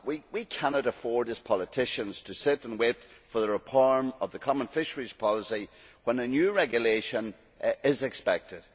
We cannot afford, as politicians, to sit and wait for the reform of the common fisheries policy when a new regulation is expected.